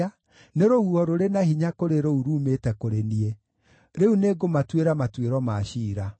nĩ rũhuho rũrĩ na hinya kũrĩ rũu ruumĩte kũrĩ niĩ. Rĩu nĩngũmatuĩra matuĩro ma ciira.”